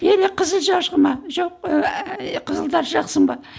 или қызыл ма жоқ ііі қызылдар жақсың ба